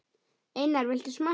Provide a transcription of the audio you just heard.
Einar, viltu smakka?